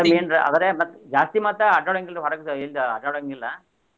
ಅದ main ರೆ ಅದರೆ ಜಾಸ್ತಿ ಮತ್ತ ಅಡ್ಯಾಡೋಹಂಗಿಲ್ಲ ಹೊರಗ್ ಎಲ್ಲಿ ಅಡ್ಯಾಡೋಹಂಗಿಲ್ಲ.